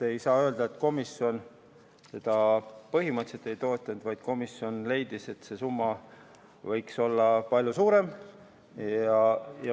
Ei saa öelda, et komisjon seda põhimõtteliselt ei toetanud, vaid komisjon leidis, et see summa võiks olla palju suurem.